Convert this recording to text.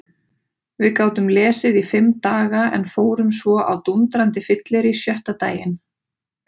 Við gátum lesið í fimm daga en fórum svo á dúndrandi fyllerí sjötta daginn.